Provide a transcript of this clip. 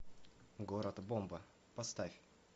город бомба поставь